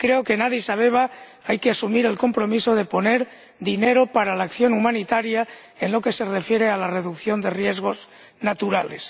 Y creo que en Adís Abeba hay que asumir el compromiso de aportar dinero para la acción humanitaria en lo que se refiere a la reducción de riesgos naturales.